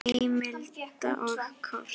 Heimild og kort